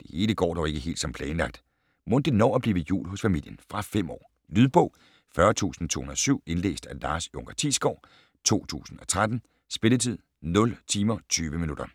Det hele går dog ikke helt som planlagt. Mon det når at blive jul hos familien? Fra 5 år. Lydbog 40207 Indlæst af Lars Junker Thiesgaard, 2013. Spilletid: 0 timer, 20 minutter.